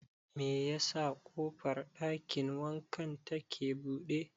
Me yasa ƙofar ɗakin wankan ta ke buɗe?